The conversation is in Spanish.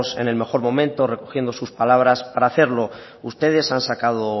en el mejor momento recogiendo sus palabras para hacerlo ustedes han sacado